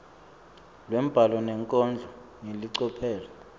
lwembhalo nenkondlo ngelicophelo